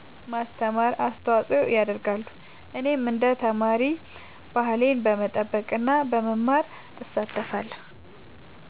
ማስተማር አስተዋጽኦ ያደርጋሉ። እኔም እንደ ተማሪ ባህሌን በመጠበቅ እና በመማር እሳተፋለሁ።